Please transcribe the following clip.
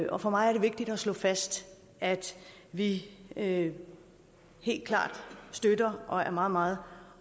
og for mig er det vigtigt at slå fast at vi helt helt klart støtter og er meget meget